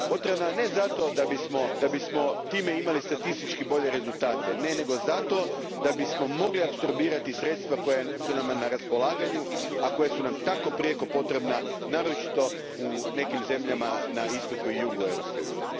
Potrebna je, ne zato da bismo time imali statistički bolje rezultate nego zato da bismo mogli apsorbirati sredstva koja su nam na raspolaganju, a koja su nam tako prijeko potrebna naročito u nekim zemljama na istoku i jugu Europske unije.